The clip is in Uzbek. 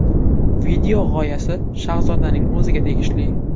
Video g‘oyasi Shahzodaning o‘ziga tegishli.